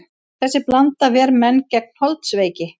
Þessi blanda ver menn gegn holdsveiki.